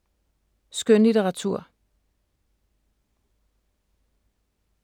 Skønlitteratur